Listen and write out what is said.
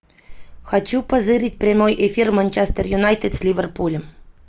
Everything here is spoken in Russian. хочу позырить прямой эфир манчестер юнайтед с ливерпулем